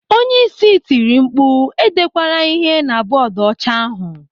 Onyeisi tiri mkpu, "E dekwara ịhe na bọọdu ọcha ahụ.